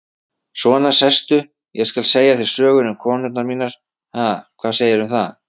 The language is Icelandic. Svona, sestu, ég skal segja þér sögur um konurnar mínar, ha, hvað segirðu um það?